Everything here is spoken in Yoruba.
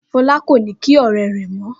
Fọlá kò ní kí ọ̀rẹ́ rẹ̀ mọ́.